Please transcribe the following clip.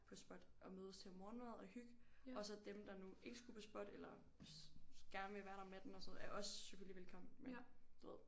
På SPOT at mødes til morgenmad og hyg og så dem der nu ikke skulle på SPOT eller gerne vil være der om natten og sådan er også selvfølgelig velkommen men du ved